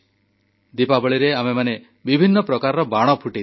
ଦୀପାବଳିରେ ଆମେମାନେ ବିଭିନ୍ନ ପ୍ରକାରର ବାଣ ଫୁଟେଇଥାଉ